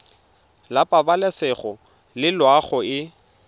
la pabalesego le loago e